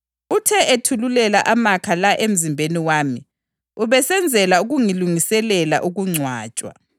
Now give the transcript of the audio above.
Uthe ethululela amakha la emzimbeni wami ubesenzela ukungilungiselela ukungcwatshwa.